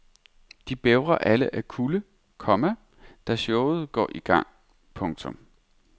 De bævrer alle af kulde, komma da showet går i gang. punktum